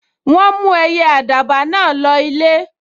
Wọ́n mú ẹyẹ àdàbà náà lọ ilé